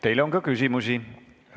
Teile on ka küsimusi.